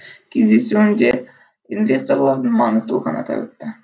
кездесуінде инвесторлардың маңыздылығын атап өтті